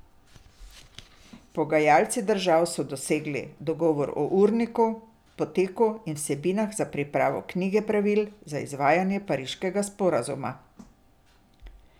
Pogajalci držav so dosegli dogovor o urniku, poteku in vsebinah za pripravo knjige pravil za izvajanje pariškega sporazuma.